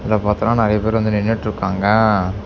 இதுல பார்த்தோன நறைய பேர் வந்து நின்னுட்டுருக்காங்க.